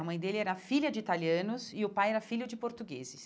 A mãe dele era filha de italianos e o pai era filho de portugueses.